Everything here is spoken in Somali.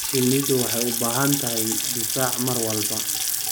Shinnidu waxay u baahan tahay difaac mar walba.